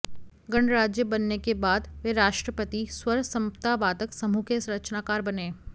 गणराज्य बनने के बाद वे राष्ट्रपति स्वर समता वादक समूह के रचनाकार बने